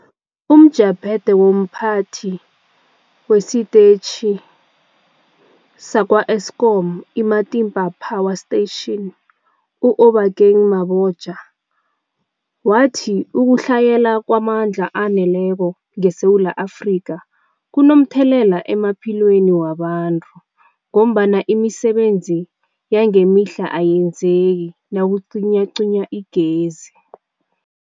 UmJaphethe womPhathi wesiTetjhi sakwa-Eskom iMatimba Power Station u-Obakeng Mabotja wathi ukutlhayela kwamandla aneleko ngeSewula Afrika kunomthelela emaphilweni wabantu ngombana imisebenzi yangemihla ayenzeki nakucinywacinywa igezi.